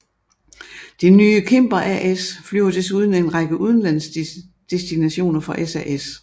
Det nye Cimber AS flyver desuden en række udenlandsdestinationer for SAS